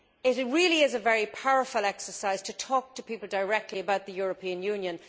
It really is a very powerful exercise to talk to people directly about the European Union.